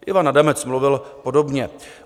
Ivan Adamec mluvil podobně.